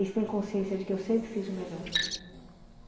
Eles têm consciência de que eu sempre fiz o melhor.